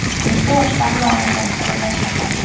Necha yoshdan muolajani qo‘llash mumkin?